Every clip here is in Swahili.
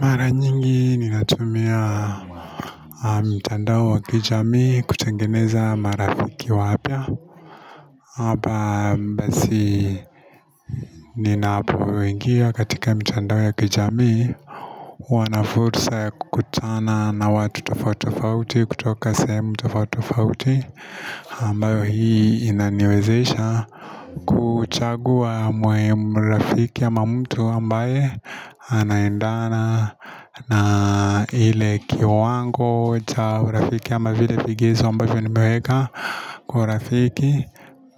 Mara nyingi ninatumia mtandao wa kijamii kutengeneza marafiki wapya Hapa basi ninapoingia katika mitandao ya kijamii huwa na fursa ya kukutana na watu tofauti tofauti kutoka sehemu tofauti tofauti ambayo hii inaniwezesha kuchagua rafiki ama mtu ambaye anaendana na ile kiwango cha urafiki ama vile vigezo ambavyo nimeweka kwa urafiki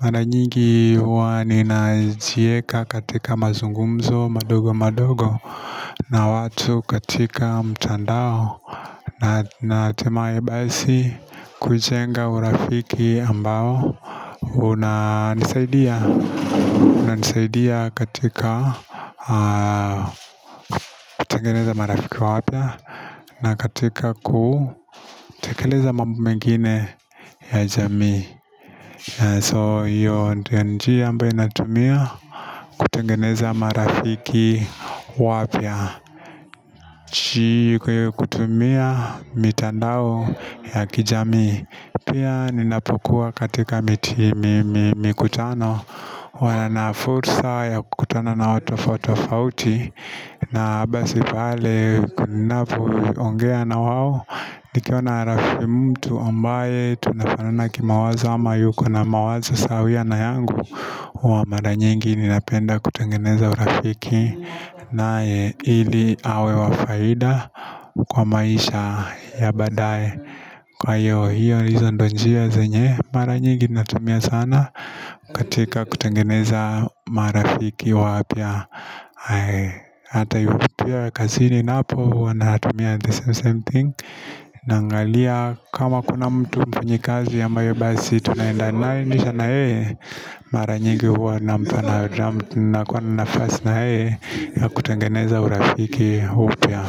Mara nyingi huwa ninajieka katika mazungumzo madogo madogo na watu katika mtandao na hatimai basi kujenga urafiki ambao unanisaidia katika kutengeneza marafiki wapya na katika kutekeleza mambo mengine ya jamii. So hiyo ndiyo nnjia ambayo ninatumia kutengeneza marafiki wapya. Kwa hiyo kutumia mitandao ya kijamii Pia ninapokuwa katika mikutano huwa na fursa ya kukutana na watu tofauti tofauti na basi pale ninapoongea na wao nikiona mtu ambaye tunafanana kimawazo ama yuko na mawazo sawia na yangu huwa mara nyingi ninapenda kutengeneza urafiki naye ili awe wa faida kwa maisha ya baadaye, kwa hiyo, hizo ndiyo njia zenye mara nyingi natumia sana katika kutengeneza marafiki wapya hata hivyo pia kazini napo huwa natumia the same same thing Naangalia kama kuna mtu mfanyikazi ambayo basi tunaendanisha na yeye, mara nyingi huwa nampa, nakuwa na nafast na yeye ya kutengeneza urafiki upya.